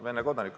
Vene kodanik.